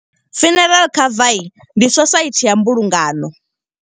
Funeral cover, ndi society ya mbulungano.